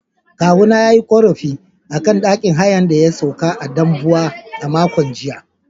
Kawuna ya yi ƙorafi a akan ɗakin hayan da ya sauka a Dambuwa a makon jiya.